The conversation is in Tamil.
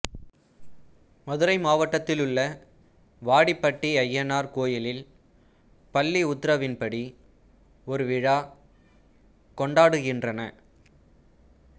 மதுரை மாவட்டத்திலுள்ள வாடிப்பட்டி அய்யனார் கோயிலில் பல்லி உத்திரவின்படி ஒரு விழா கொண்டாடுகின்றனர்